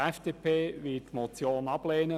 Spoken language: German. Die FDP wird die Motion ablehnen.